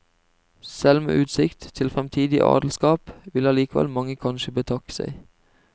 Selv med utsikt til fremtidig adelskap vil allikevel mange kanskje betakke seg.